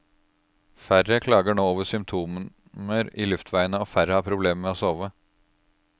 Færre klager nå over symptomer i luftveiene, og færre har problemer med å sove.